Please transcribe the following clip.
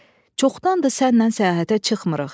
Çoxdandır sənnən səyahətə çıxmırıq.